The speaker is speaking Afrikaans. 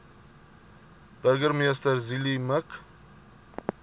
burgemeester zille mik